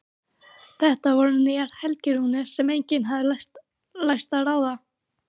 Þetta voru nýjar helgirúnir sem enginn hafði lært að ráða.